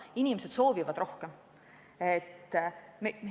Inimesed soovivad rohkem.